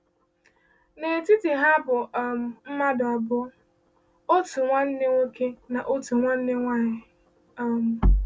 N’etiti ha bụ um mmadụ abụọ, otu nwanne nwoke na otu nwanne nwanyị. um